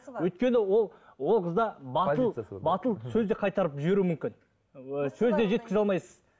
өйткені ол ол қызда батыл батыл сөз де қайтарып жіберуі мүмкін сөз де жеткізе алмайсыз